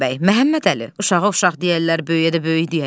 Məhəmmədəli, uşağa uşaq deyərlər, böyüyə də böyük deyərlər.